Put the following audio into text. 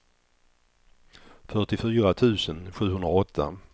fyrtiofyra tusen sjuhundraåtta